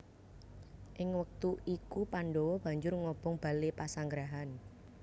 Ing wektu iku Pandhawa banjur ngobong bale pasanggrahan